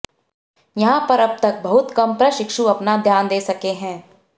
यहां पर अब तक बहुत कम प्रशिक्षु अपना ध्यान दे सके हैं